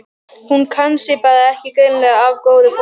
Hún kann sig bara er greinilega af góðu fólki.